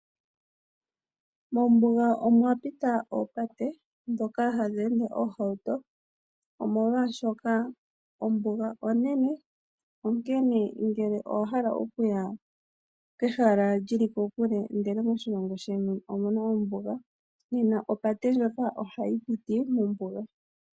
Mombuga omwapita oopate, dhoka hadhi ende oohawuto. Omolwaashoka ombuga onene, onkene ngele owahala okuya kehala lyili kokule ndele moshilongo sheni omuna ombuga, nena opate ndjoka ohayi piti mombuga.